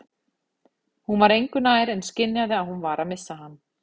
Hún var engu nær en skynjaði að hún var að missa hann.